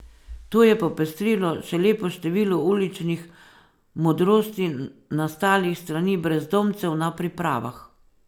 To je popestrilo še lepo število uličnih modrosti nastalih s strani brezdomcev na pripravah.